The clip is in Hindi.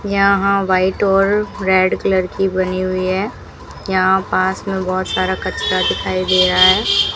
यहां व्हाइट और रेड कलर की बनी हुई है यहां पास मे बहोत सारा कचरा दिखाई दे रहा है।